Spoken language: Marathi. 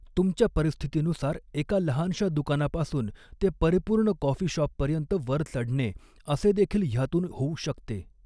तुमच्या परिस्थितीनुसार एका लहानशा दुकानापासून ते परिपूर्ण कॉफी शॉपपर्यंत वर चढणे असे देखील ह्यातून होऊ शकते.